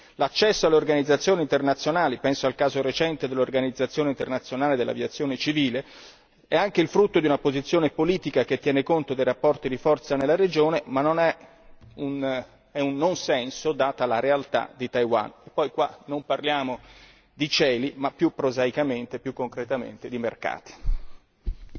Ostacolarne ad esempio l'accesso a organizzazioni internazionali penso al caso recente dell'Organizzazione internazionale dell'aviazione civile è anche il frutto di una posizione politica che tiene conto dei rapporti di forza nella regione, ma è un non senso data la realtà di Taiwan qua non parliamo di cieli, ma più prosaicamente, più concretamente, di mercati.